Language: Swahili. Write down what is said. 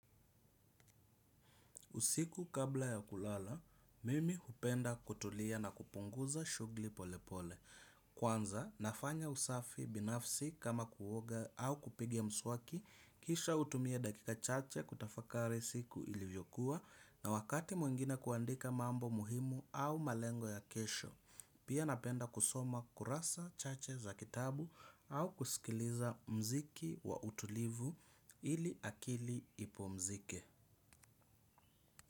Usiku kabla ya kulala, mimi hupenda kutulia na kupunguza shughuli pole pole. Kwanza, nafanya usafi binafsi kama kuoga au kupiga mswaki, kisha hutumia dakika chache kutafakari siku ilivyokuwa na wakati mwengine kuandika mambo muhimu au malengo ya kesho. Pia napenda kusoma kurasa chache za kitabu au kusikiliza muziki wa utulivu ili akili ipumzike.